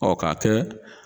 Ɔ ka kɛ